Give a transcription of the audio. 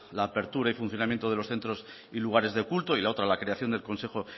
la apertura y funcionamiento de los centros y lugares de culto y la otra la creación del consejo